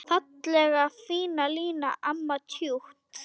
Fallega fína Lína, amma tjútt.